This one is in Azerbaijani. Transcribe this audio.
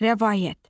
Rəvayət.